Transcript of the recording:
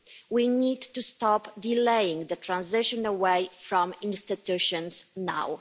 We need to stop delaying the transition away from institutions now.